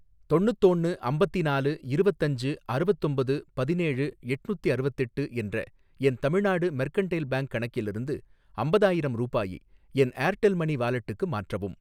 தொண்ணுத்தோன்னு அம்பத்தினாலு இருவத்தஞ்சு அறுவத்தொம்பது பதினேழு எட்னுத்திஅறுவத்தெட்டு என்ற என் தமிழ்நாடு மெர்கன்டைல் பேங்க் கணக்கிலிருந்து அம்பதாயிரம் ரூபாயை என் ஏர்டெல் மனி வாலெட்டுக்கு மாற்றவும்